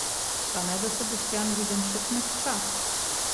Pa ne, da se Boštjan Videmšek mehča?